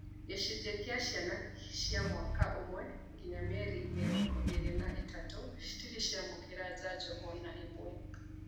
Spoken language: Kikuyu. Gĩcunjĩ kĩa igĩrĩ kĩa ciana cia mwaka umwe nginyagia mĩeri mĩrongo ĩĩrĩ na ithatũ citirĩ ciamũkĩra njanjo ona-ĩmwe